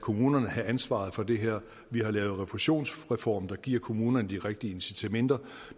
kommunerne have ansvaret for det her og vi har lavet en refusionsreform der giver kommunerne de rigtige incitamenter